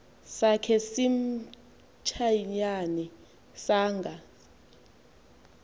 sakhe simantshiyane sanga